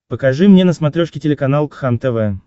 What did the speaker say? покажи мне на смотрешке телеканал кхлм тв